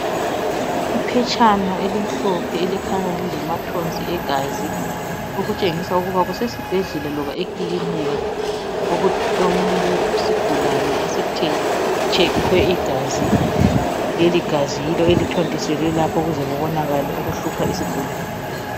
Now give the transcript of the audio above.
Iphetshana elimhlophe elikhanya lilamathonsi egazi okutshengisa ukuba kusesibhedlela loba ekilinika okulesigulane esitshekhwe igazi .Leli gazi yilo elithontiselwe lapha ukuze kubonakale okuhlupha isigulane.